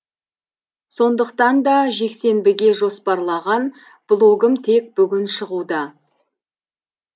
сондықтан да жексенбіге жоспарлаған блогым тек бүгін шығуда